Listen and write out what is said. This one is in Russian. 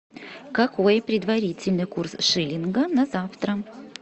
какой предварительный курс шиллинга на завтра